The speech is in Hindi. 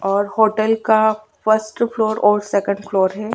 और होटल का फ़ास्ट और सेन्ड फ्लोर है।